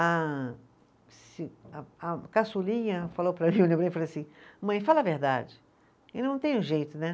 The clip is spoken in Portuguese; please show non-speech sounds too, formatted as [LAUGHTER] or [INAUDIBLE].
A [UNINTELLIGIBLE] a a caçulinha falou para mim, [UNINTELLIGIBLE] falou assim, mãe, fala a verdade, eu não tenho jeito, né?